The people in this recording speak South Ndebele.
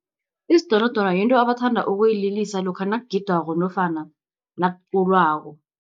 Isidonodono yinto abathanda ukuyililisa lokha nakugidwako nofana nakuculwako.